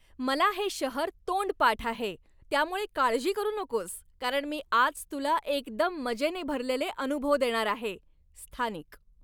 मला हे शहर तोंडपाठ आहे, त्यामुळे काळजी करू नकोस, कारण मी आज तुला एकदम मजेने भरलेले अनुभव देणार आहे. स्थानिक